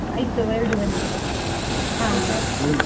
ಆಯ್ತು ಎರಡುವರೆಗೆ.